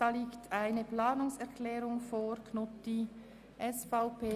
Hier liegt eine Planungserklärung von Grossrat Knutti vor.